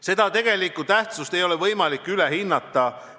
Seda tegelikku tähtsust ei ole võimalik üle hinnata.